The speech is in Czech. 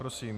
Prosím.